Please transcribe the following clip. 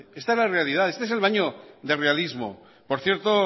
esta es la realidad este es el baño de realismo por cierto